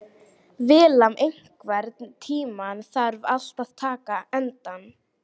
Vilmar, einhvern tímann þarf allt að taka enda.